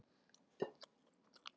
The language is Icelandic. Matur getur ekki sparað.